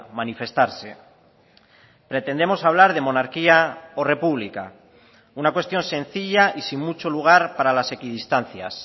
manifestarse pretendemos hablar de monarquía o república una cuestión sencilla y sin mucho lugar para las equidistancias